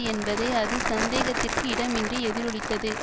என்பதை அது சந்தேகத்திற்கு இடமின்றி எதிரொலித்தது